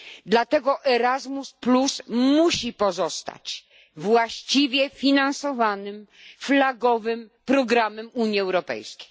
Dlatego Erasmus musi pozostać właściwie finansowanym, flagowym programem Unii Europejskiej.